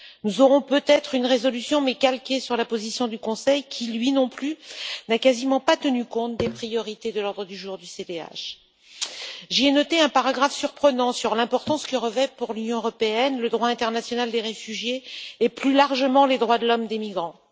Nous aurons peut être une résolution, mais calquée sur la position du Conseil qui, lui non plus, n'a quasiment pas tenu compte des priorités de l'ordre du jour du CDH. J'ai noté un paragraphe surprenant sur l'importance que revêtent, pour l'Union européenne, le droit international des réfugiés et, plus largement, les droits de l'homme des migrants.